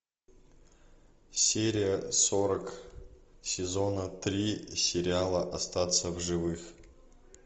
серия сорок сезона три сериала остаться в живых